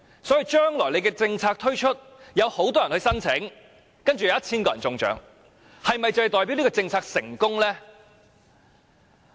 所以，將來政策推出，會有很多人申請，然後有 1,000 個人中獎，但這樣是否代表這項政策成功呢？